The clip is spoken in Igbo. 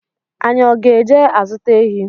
Anyị ọ ga-eje azuta ehi?